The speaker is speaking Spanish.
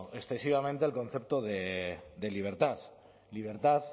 excesivamente el concepto de libertad libertad